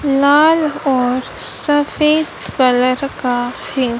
लाल और सफेद कलर का है।